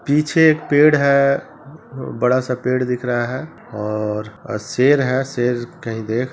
पीछे एक पेड़ है बड़ा-सा पेड़ दिख रहा है और शेर है शेर कहीं देख--